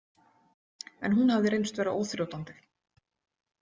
En hún hafði reynst vera óþrjótandi.